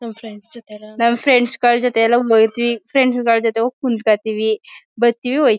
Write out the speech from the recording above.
ನಮ್ ಫ್ರೆಂಡ್ಸ್ ಜತೆ ಎಲ್ಲ ನಮ್ ಫ್ರೆಂಡ್ಸ್ ಗಳ್ ಜತೆ ಎಲ್ಲ ಹೋಯ್ತಿವಿ ಫ್ರೆಂಡ್ಸ್ ಗಳ್ ಜತೆ ಎಲ್ಲ ಹೋಗಿ ಕುಂತು ಕೊಳ್ತೀವಿ ಬರ್ತೀವಿ ಹೋಯ್ತಿವಿ.